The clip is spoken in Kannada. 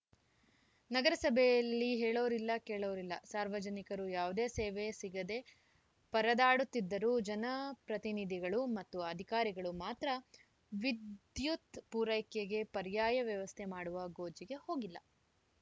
ನಗರಸಭೆಯಲ್ಲಿ ಹೇಳೋರಿಲ್ಲ ಕೇಳೋರಿಲ್ಲ ಸಾರ್ವಜನಿಕರು ಯಾವುದೇ ಸೇವೆ ಸಿಗದೇ ಪರದಾಡುತ್ತಿದ್ದರೂ ಜನಪ್ರತಿನಿಧಿಗಳು ಮತ್ತು ಅಧಿಕಾರಿಗಳು ಮಾತ್ರ ವಿದ್ಯುತ್‌ ಪೂರೈಕೆಗೆ ಪರ್ಯಾಯ ವ್ಯವಸ್ಥೆ ಮಾಡುವ ಗೋಜಿಗೆ ಹೋಗಿಲ್ಲ